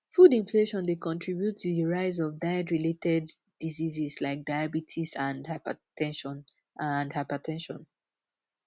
food inflation dey contribute to di rise of diet-related diseases like diabetes and hyper ten sion and hyper ten sion